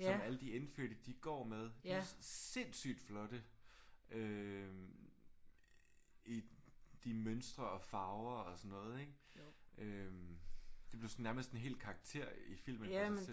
som alle de indfødte de går med. De er sindssygt flotte øh i de mønstre og farver og sådan noget ik? Øh de blev sådan nærmest en hel karakter i filmen i sig selv